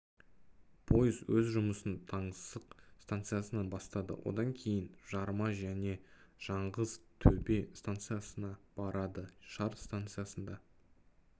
пойыз өз жұмысын таңсық станциясынан бастады одан кейін жарма және жаңғыз төбе станциясына барады шар станциясында